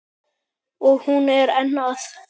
Og hún er enn að.